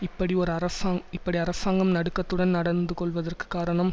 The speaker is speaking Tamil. இப்படி ஒரு அரசாங் இப்படி அரசாங்கம் நடுக்கத்துடன் நடந்து கொள்ளுவதற்கு காரணம்